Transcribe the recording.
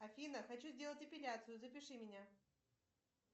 афина хочу сделать эпиляцию запиши меня